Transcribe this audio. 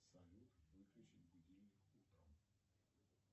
салют выключить будильник утром